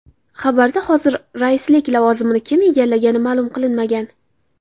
Xabarda hozir raislik lavozimini kim egallagani ma’lum qilinmagan.